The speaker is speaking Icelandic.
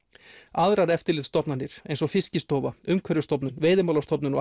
aðrar eftirlitsstofnanir eins og Fiskistofa Umhverfisstofnun Veiðimálastofnun og